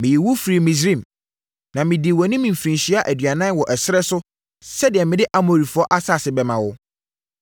Meyii wo firii Misraim, na medii wʼanim mfirinhyia aduanan wɔ ɛserɛ so sɛdeɛ mede Amorifoɔ asase bɛma wo.